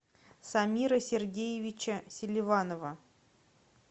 самира сергеевича селиванова